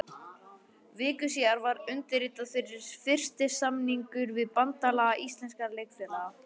Viku síðar var undirritaður fyrsti samningur við Bandalag íslenskra leikfélaga.